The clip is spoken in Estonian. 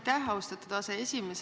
Aitäh, austatud aseesimees!